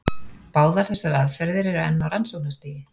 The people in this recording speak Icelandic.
Báðar þessar aðferðir eru enn á rannsóknarstigi.